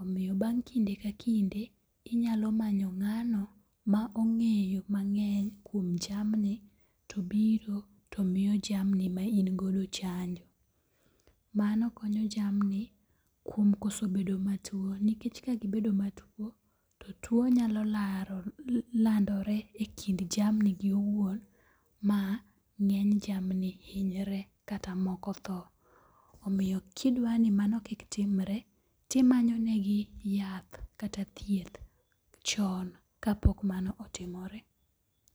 Omiyo bang' kinde ka kinde, inyalo manyo ng'ano ma ong'eyo mang'eny kuom jamni to biro to miyo jamni ma ingodo chanjo. Mano konyo jamni kuom koso bedo matuo nikech ka gibedo matuo, to tuo nyalo landore e kind jamni gi owuon ma ng'eny jamni hinyre kata moko tho. Omiyo kidwani mano kik timre, timanyonegi yath kata thieth chon kapok mano otimore.